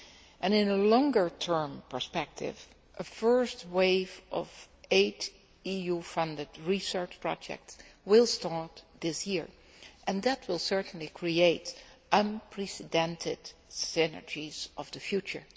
And in a longer term perspective, a first wave of eight EU funded research projects will start this year and that will certainly create unprecedented synergies of the future.